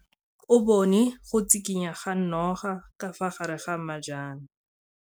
O bone go tshikinya ga noga ka fa gare ga majang.